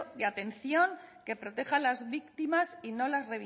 y atención que proteja las víctimas y no las